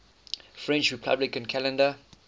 french republican calendar